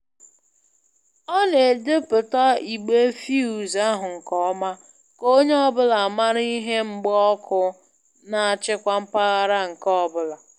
Ọ na-edpụta igbe fuse ahụ nke ọma ka onye ọbụla mara ihe mgba ọkụ na-achịkwa mpaghara nke ọbụla